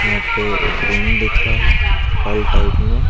यहां पे रूम दिख रहा है हाल टाइप में।